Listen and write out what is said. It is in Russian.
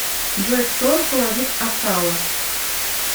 джой кто руководит асала